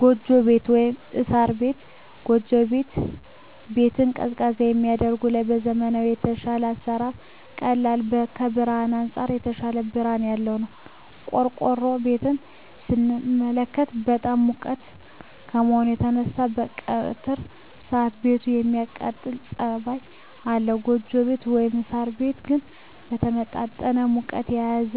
ጎጆ ቤት(ሳር ቤት)። ጎጆ ቤት ቤትን ቀዝቃዛ ከማድረጉም በላይ ከዘመናዊዉ በተሻለ ለአሰራር ቀላል ከብርሀንም አንፃር የተሻለ ብርሀን ያለዉ ነዉ። ቆርቆሮ ቤትን ስንመለከት በጣም ሙቅ ከመሆኑ የተነሳ በቀትር ሰአት ቤቱ የማቃጠል ፀባይ አለዉ ጎጆ ቤት (ሳር ቤት) ግን የተመጣጠነ ሙቀትን የያዘ